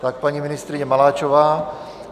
Tak paní ministryně Maláčová.